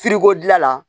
dilan la